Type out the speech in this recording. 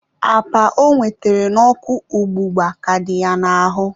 apa ọ nwetara n'ọkụ ọgbụgba ka dị ya n'ahụ.